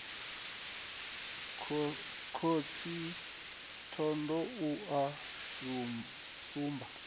khosi thohoyanḓ ou u sumba